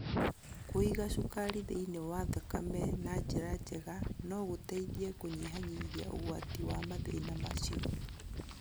Kũiga cukari thĩinĩ wa thakame na njĩra njega no gũteithie kũnyihanyihia ũgwati wa mathĩna macio